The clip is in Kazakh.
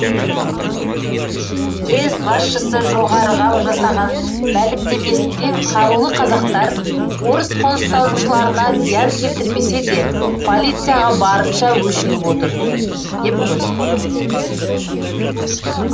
уезд басшысы жоғарыға жасаған мәлімдемесінде қарулы қазақтар орыс қоныстанушыларына зиян келтірмесе де полицияға барынша өшігіп отыр деп көрсетті